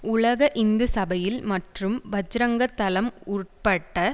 உலக இந்து சபையில் மற்றும் பஜ்ரங்கதளம் உட்பட்ட